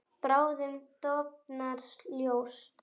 Bráðum dofnar ljós.